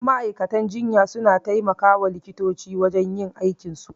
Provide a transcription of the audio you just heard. Ma'aikatar jinya suna taimakawa likitoci wajen yin aikin su